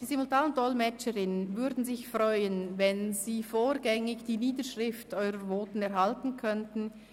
Die Simultandolmetscherinnen würden sich freuen, wenn Sie vorgängig die Niederschrift Ihrer Voten erhalten könnten.